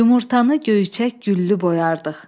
Yumurtanı göyçək güllü boyardıq.